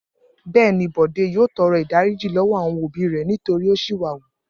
Bẹ́ẹ̀ ni, Bọ̀dé yóò tọrọ ìdáríjì lọ́wọ́ àwọn òbí rẹ̀ nítorí ó ṣìwà wù.